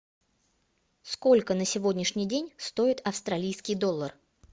сколько на сегодняшний день стоит австралийский доллар